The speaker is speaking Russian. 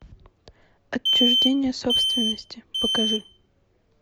отчуждение собственности покажи